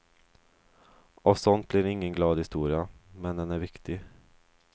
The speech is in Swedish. Av sånt blir ingen glad historia, men den är viktig.